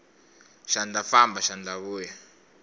xandla famba xandla vuya